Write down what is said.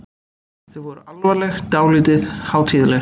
Þau voru alvarleg, dálítið hátíðleg.